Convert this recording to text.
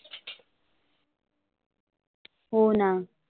होना.